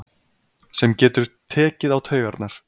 Sem getur tekið á taugarnar.